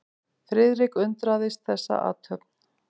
Friðrik undraðist þessa athöfn.